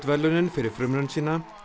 verðlaunin fyrir frumraun sína